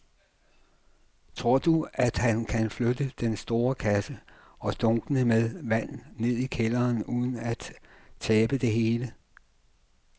Tror du, at han kan flytte den store kasse og dunkene med vand ned i kælderen uden at tabe det hele?